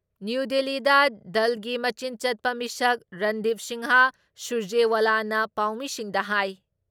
new ꯗꯤꯜꯂꯤꯗ ꯗꯜꯒꯤ ꯃꯆꯤꯟ ꯆꯠꯄ ꯃꯤꯁꯛ ꯔꯟꯗꯤꯞ ꯁꯤꯡꯍ ꯁꯨꯔꯖꯦꯋꯥꯂꯥꯅ ꯄꯥꯎꯃꯤꯁꯤꯡꯗ ꯍꯥꯏ